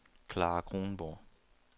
Clara Kronborg